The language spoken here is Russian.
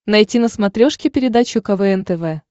найти на смотрешке передачу квн тв